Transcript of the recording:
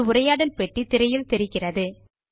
ஒரு உரையாடல் பெட்டி திரையில் தெரிகிறது